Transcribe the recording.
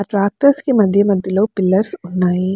Tractors కి మధ్య మధ్యలో పిల్లర్స్ ఉన్నాయి.